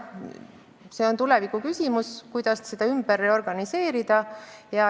See on tulevikuküsimus, kuidas kogu süsteemi täpselt reorganiseerida.